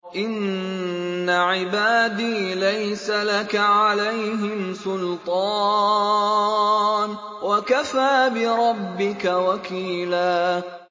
إِنَّ عِبَادِي لَيْسَ لَكَ عَلَيْهِمْ سُلْطَانٌ ۚ وَكَفَىٰ بِرَبِّكَ وَكِيلًا